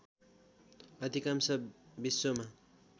अधिकांश विश्वमा